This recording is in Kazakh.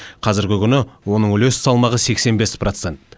қазіргі күні оның үлес салмағы сексен бес процент